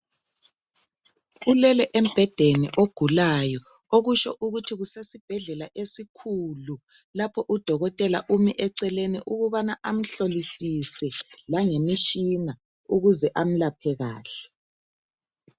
Ulele embhedeni ogulayo okusho ukuthi kusesibhedlela esikhulu. Lapho udokotela umi eceleni ukubana amhlolisile langemishina ukuze amlaphe kahle.